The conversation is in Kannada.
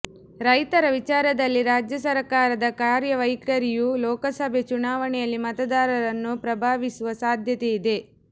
ರೈತರ ವಿಚಾರದಲ್ಲಿ ರಾಜ್ಯ ಸರ್ಕಾರದ ಕಾರ್ಯವೈಖರಿಯು ಲೋಕಸಭೆ ಚುನಾವಣೆಯಲ್ಲಿ ಮತದಾರರನ್ನು ಪ್ರಭಾವಿಸುವ ಸಾಧ್ಯತೆ ಇದೆ